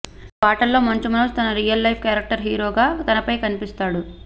ఇక పాటల్లో మంచు మనోజ్ తన రియల్ లైఫ్ క్యారెక్టర్ హీరోగా తెరపై కనిపిస్తాడు